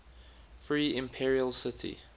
free imperial city